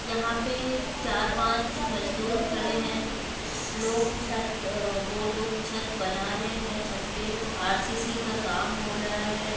यहां पे चार पाँच मजदूर खड़े है लोग छत वो लोग छत बना रहे है छत पे आर_सी_सी का काम हो रहा है।